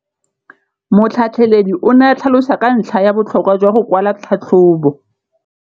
Motlhatlheledi o ne a tlhalosa ka ntlha ya botlhokwa jwa go kwala tlhatlhôbô.